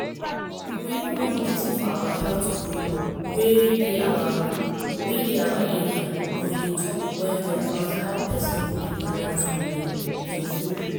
we hold one meeting for our health group wey dey our area and we talk well well about how persin go dey balance hin food.